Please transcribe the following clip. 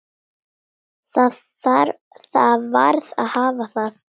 Það varð að hafa það.